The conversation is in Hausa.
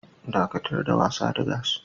Dakatar da wasa da gas.